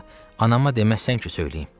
Ata, anama deməsən ki, söyləyim.